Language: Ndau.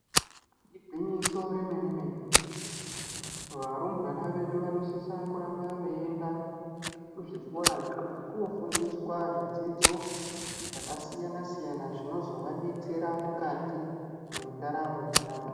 Igwinyiso re mene mene varumbwana vedu vano sisa kuramba vei enda kuzvikora nemuti kuno fundiswa zvi dzidzo zvaka siyana siyana zvinozova betsera mukati mendaramo yavo.